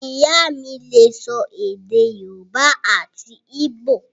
Ìyá mí lè sọ èdè yóòbá àti íbò